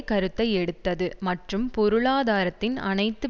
கருத்தை எடுத்தது மற்றும் பொருளாதாரத்தின் அனைத்து